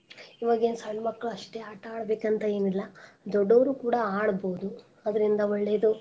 ಈವಾಗಿನ್ ಸಣ್ಣ ಮಕ್ಳು ಅಸ್ಟೇ ಆಟಾ ಆಡ್ಬೇಕ್ ಅಂತೇನ್ ಇಲ್ಲಾ ದೊಡ್ಡೋರು ಕೂಡಾ ಆಡ್ಬೋದು ಅದ್ರಿಂದ ಒಳ್ಳೇದು.